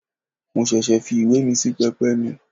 Mo ṣẹ̀ṣẹ̀ fi ìwé míì sí pẹpẹ mi.